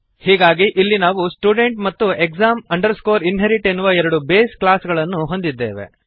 ಹೀಗಾಗಿ ಇಲ್ಲಿ ನಾವು ಸ್ಟುಡೆಂಟ್ ಮತ್ತು exam inherit ಎನ್ನುವ ಎರಡು ಬೇಸ್ ಕ್ಲಾಸ್ ಗಳನ್ನು ಹೊಂದಿದ್ದೇವೆ